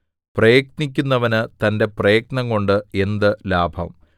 പ്രയത്നിക്കുന്നവന് തന്റെ പ്രയത്നംകൊണ്ട് എന്ത് ലാഭം